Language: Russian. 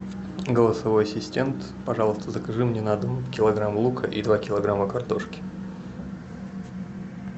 голосовой ассистент пожалуйста закажи мне на дом килограмм лука и два килограмма картошки